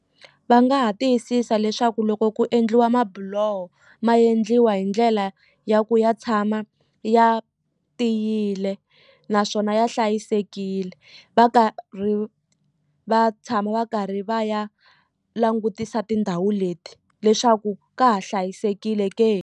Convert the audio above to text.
Va nga ha tiyisisa leswaku loko ku endliwa mabuloho ma endliwa hi ndlela ya ku ya tshama ya tiyile naswona ya hlayisekile va karhi va tshama va karhi va ya langutisa tindhawu leti leswaku ka ha hlayisekile ke.